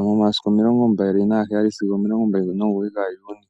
momasiku omilongo mbali nagaheyali sigo mbali nomugoyi gaJuni.